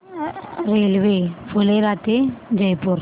railway Phulera ते जयपूर